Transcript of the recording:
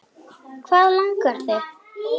Hvað langar þig?